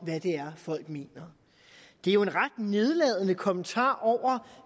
hvad det er folk mener det er jo en ret nedladende kommentar over